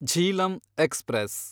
Jhelum express